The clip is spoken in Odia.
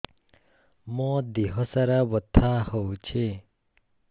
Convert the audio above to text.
ମୋ ଦିହସାରା ବଥା ହଉଚି